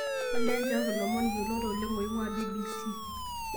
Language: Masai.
olly nchooki ilomon yiolot oleng oing'uaa b.b.c